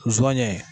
Zonyɛ